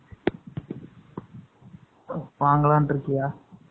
3 . வாங்கலாம்னு இருக்கியா?